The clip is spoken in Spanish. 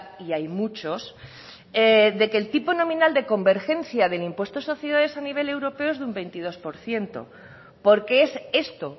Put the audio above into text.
y hay muchos de que el tipo nominal de convergencia del impuesto de sociedades a nivel europeo es de un veintidós por ciento porque es esto